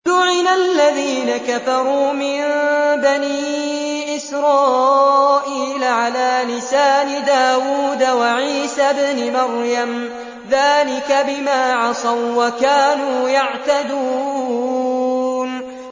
لُعِنَ الَّذِينَ كَفَرُوا مِن بَنِي إِسْرَائِيلَ عَلَىٰ لِسَانِ دَاوُودَ وَعِيسَى ابْنِ مَرْيَمَ ۚ ذَٰلِكَ بِمَا عَصَوا وَّكَانُوا يَعْتَدُونَ